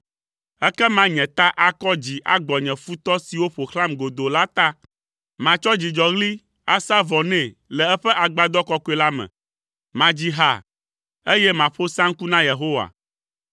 Ekema nye ta akɔ dzi agbɔ nye futɔ siwo ƒo xlãm godoo la ta; matsɔ dzidzɔɣli asa vɔ nɛ le eƒe agbadɔ kɔkɔe la me. Madzi ha, eye maƒo saŋku na Yehowa.